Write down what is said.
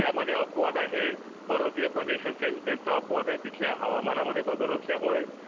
यामध्ये अपवाद आहे. पर्वतीय प्रदेश असेल त्यांचा अपवाद आहे. तिथल्या हवामाना मध्ये बदल असल्यामुळे